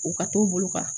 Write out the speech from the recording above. U ka t'u bolo kan